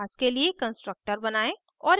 उस class के लिए constructor बनायें